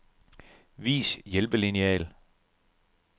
Vis hjælpelineal.